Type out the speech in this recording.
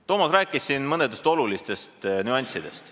Toomas rääkis siin mõnest olulisest nüansist.